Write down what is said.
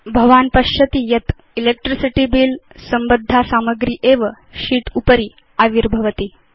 भवान् पश्यति यत् इलेक्ट्रिसिटी बिल संबद्धा सामग्री एव शीत् उपरि आविर्भवति